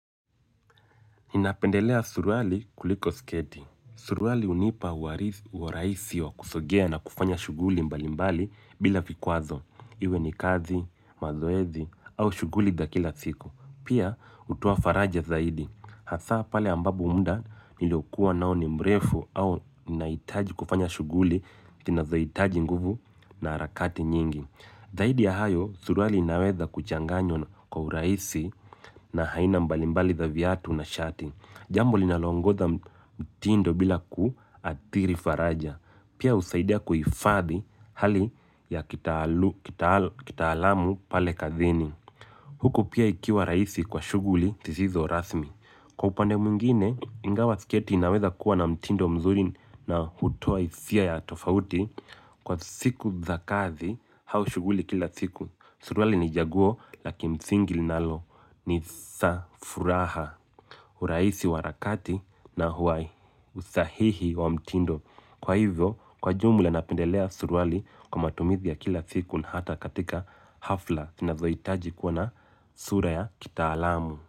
Napendelea suruali kuliko sketi. Suruali hunipa urahisi wa kusogea na kufanya shughuli mbali mbali bila vikwazo iwe ni kazi, mazoezi au shughuli za kila siku. Pia hutoa faraja zaidi. Hasa pale ambapo muda nilokuwa nao ni mrefu au naitaji kufanya shughuli, zinazohitaji nguvu na harakati nyingi. Zaidi ya hayo, suruali inaweza kuchanganywa kwa urahisi na haina mbalimbali za viatu na shati. Jambo linaloongoza mtindo bila kuathiri faraja. Pia usaidia kuifadhi hali ya kitaalamu pale kazini. Huku pia ikiwa raisi kwa shughuli zisizo rasmi. Kwa upande mwingine, ingawa siketi inaweza kuwa na mtindo mzuri na hutoa hisia ya tofauti. Kwa siku za kazi hau shughuli kila siku suruali ni jaguo la kimsingi linalo ni sa furaha uraisi wa arakati na huwai usahihi wa mtindo kwa hivyo kwa jumla napendelea suruali kwa matumizi ya kila siku na hata katika hafla zinazo itaji kwa na sura ya kitaalamu.